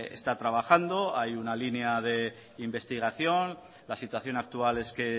está trabajando hay una línea de investigación la situación actual es que